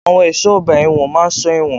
Àwọn ẹ̀ṣọ́ ọgbà ẹ̀wọ̀n máa ń sọ ẹ̀wọ̀n.